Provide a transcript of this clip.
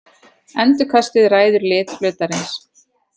Endurkastið ræður lit hlutarins.